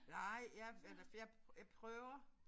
Nej jeg eller for jeg jeg prøver